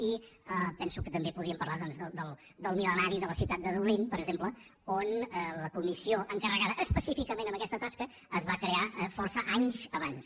i penso que també podríem parlar doncs del mil·lenari de la ciutat de dublín per exemple on la comissió encarregada específicament per aquesta tasca es va crear força anys abans